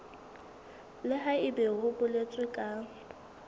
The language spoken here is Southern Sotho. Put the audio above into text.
le haebe ho boletswe ka